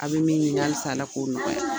Aw bɛ min ɲinin halisa Ala k'o nɔgɔya.